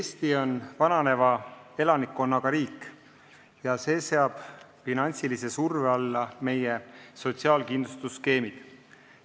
Eesti on vananeva elanikkonnaga riik ja see seab finantsilise surve alla meie sotsiaalkindlustusskeemid.